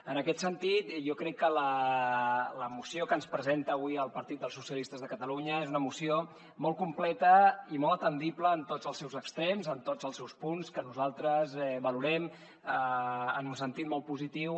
en aquest sentit jo crec que la moció que ens presenta avui el partit socialistes de catalunya és una moció molt completa i molt atendible en tots els seus extrems en tots els seus punts que nosaltres valorem en un sentit molt positiu